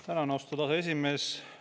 Tänan, austatud aseesimees!